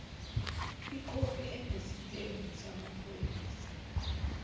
ikhophi enesitembu samaphoyisa